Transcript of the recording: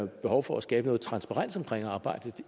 behov for at skabe noget transparens omkring arbejdet